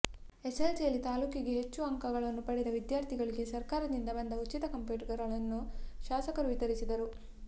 ಎಸ್ಸೆಸ್ಸೆಲ್ಸಿಯಲ್ಲಿ ತಾಲ್ಲೂಕಿಗೆ ಹೆಚ್ಚು ಅಂಕಗಳನ್ನು ಪಡೆದ ವಿದ್ಯಾರ್ಥಿಗಳಿಗೆ ಸರ್ಕಾರದಿಂದ ಬಂದ ಉಚಿತ ಕಂಪ್ಯೂಟರ್ಗಳನ್ನು ಶಾಸಕರು ವಿತರಿಸಿದರು